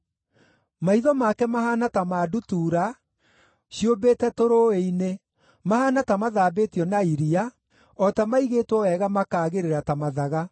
Maitho make mahaana ta ma ndutura ciũmbĩte tũrũũĩ-inĩ, mahaana ta mathambĩtio na iria, o ta maigĩtwo wega makaagĩrĩra ta mathaga.